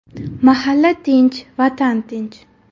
Mahalla tinch – Vatan tinch.